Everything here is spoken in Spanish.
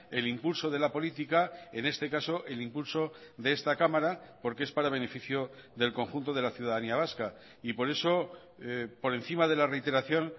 el impulso de la política en este caso el impulso de esta cámara porque es para beneficio del conjunto de la ciudadanía vasca y por eso por encima de la reiteración